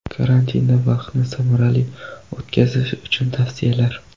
Karantinda vaqtni samarali o‘tkazish uchun tavsiyalar.